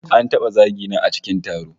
An taba zagi na a cikin taro